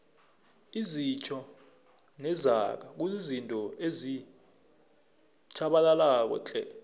izitjho nezaga kuzizinto ezitjhabalalako tle